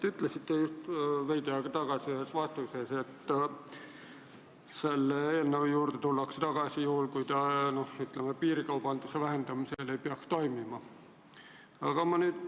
Te ütlesite veidi aega tagasi ühes vastuses, et selle eelnõu juurde tullakse tagasi, kui selle mõjul piirikaubandus ei peaks vähenema.